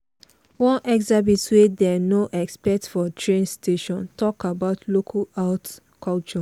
one exhibit wey dem no expect for train station talk about local art culture.